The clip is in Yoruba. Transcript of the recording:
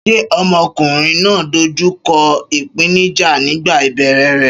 Ṣé ọmọkùnrin náà dojú kọ ìpèníjà nígbà ìbẹ̀rẹ̀ rẹ̀?